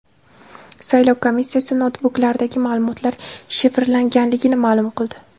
Saylov komissiyasi noutbuklardagi ma’lumotlar shifrlanganligini ma’lum qildi.